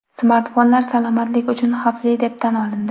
Smartfonlar salomatlik uchun xavfli deb tan olindi.